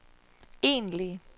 egentlige